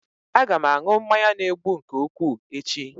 Aga m aṅụ mmanya na-egbu nke ukwuu echi